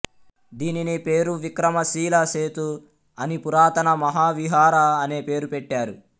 దీనిని పేరు విక్రమ శీలా సేతు అని పురాతన మహావిహరా అనే పేరు పెట్టారు